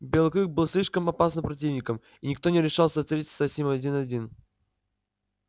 белый клык был слишком опасным противником и никто не решался встретиться с ним один один